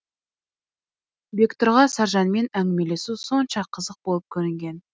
бектұрға саржанмен әңгімелесу сонша қызық болып көрінген